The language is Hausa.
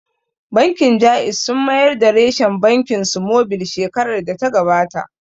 Bankin Jaiz sun mayar da reshen bankin su mobil shekarar da ta gabata